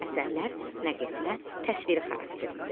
Əsərlər nəql etmə, təsviri xarakterlidir.